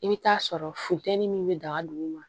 I bɛ taa sɔrɔ funteni min bɛ daga duguma